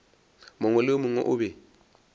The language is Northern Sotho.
mongwe le mongwe o be